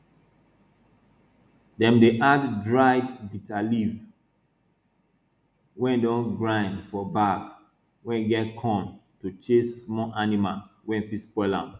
dem dey add dried bitterleaf wey don grind for bag wey get corn to chase small animals wey fit spoil am